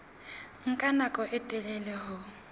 nka nako e telele ho